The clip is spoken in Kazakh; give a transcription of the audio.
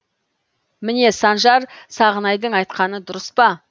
міне санжар сағынайдың айтқаны дұрыспа